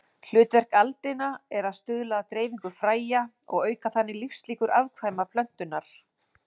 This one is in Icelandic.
Hlutverk aldina er að stuðla að dreifingu fræja og auka þannig lífslíkur afkvæma plöntunnar.